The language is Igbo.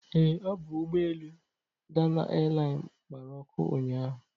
Ee, ọ bụ ụgbọelu Dana Airline gbara ọkụ ụnyaahụ.